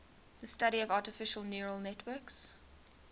the study of artificial neural networks